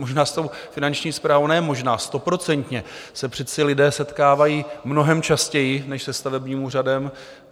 Možná s tou Finanční správou - ne možná, stoprocentně - se přece lidé setkávají mnohem častěji než se stavebním úřadem.